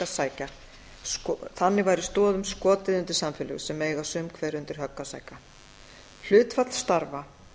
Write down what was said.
um gjaldtökuna þannig væri stoðum skotið undir samfélög sem eiga sum hver undir högg að sækja hlutfall starfa